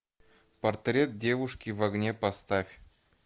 портрет девушки в огне поставь